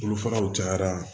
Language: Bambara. Olu faraw cayara